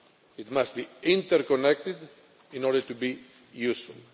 It must be interconnected in order to be useful.